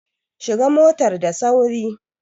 Shiga motar da sauri!